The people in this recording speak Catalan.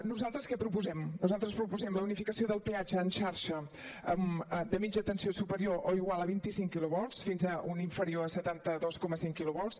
nosaltres què proposem nosaltres proposem la unificació del peatge en xarxa de mitja tensió superior o igual a vint cinc quilovolts fins a un inferior a setanta dos coma cinc quilovolts